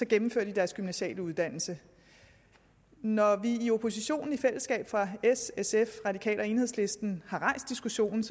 gennemfører de deres gymnasiale uddannelse når vi i oppositionen s sf radikale og enhedslisten i har rejst diskussionen